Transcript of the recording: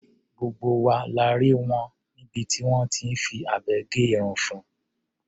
Gbogbo wa la rí wọ níbi tí wọ́n ti fi abẹ gé irun fun.